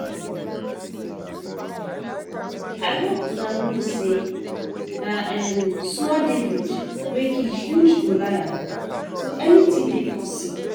I hope una know say na small David wey kill huge Goliath so anything dey possible